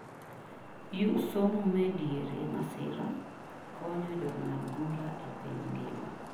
you somo me diere masira,; konyo jong'ad bura e piny ngima